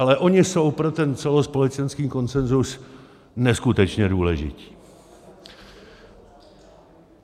Ale oni jsou pro ten celospolečenský konsenzus neskutečně důležití.